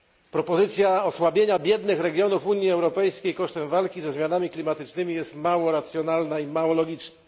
Propozycja osłabienia biednych regionów Unii Europejskiej kosztem walki ze zmianami klimatycznymi jest mało racjonalna i mało logiczna.